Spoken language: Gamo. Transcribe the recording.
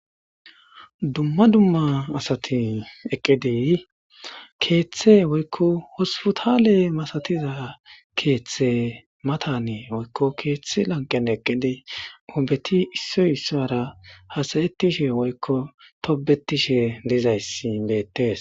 Dumma dumma asatin eqqedey keeththe woykko hosputale masatiza keeththe matanee woykko keeththi lanqane eqqedey oobeti issoy issaara hasayettishe woykko tobetishe dizayssi beettes.